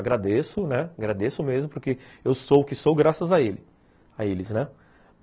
Agradeço, né, agradeço mesmo, porque eu sou o que sou graças a eles, né.